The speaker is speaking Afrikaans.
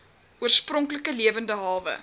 oorspronklike lewende hawe